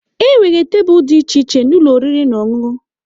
Enwere tebụl dị iche iche na ụlọ oriri na ọṅụṅụ.